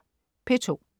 P2: